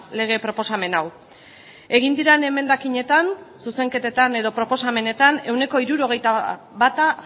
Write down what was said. lege proposamen hau egin diren emendakinetan zuzenketetan edo proposamenetan ehuneko hirurogeita bata